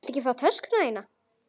Viltu ekki fá töskuna þína?